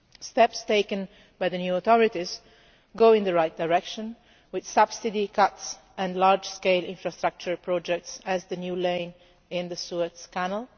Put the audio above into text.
Steps taken by the new authorities go in the right direction, with subsidy cuts and large scale infrastructure projects such as the new lane in the Suez Canal.